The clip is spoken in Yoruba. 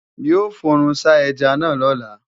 Yóò fòrùnsá ẹja náà lọ́la